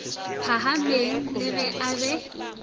phahameng le ge a be